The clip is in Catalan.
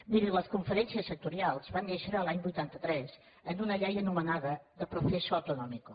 miri les conferències sectorials van néixer l’any vuitanta tres en una llei anomenada de proceso autonómico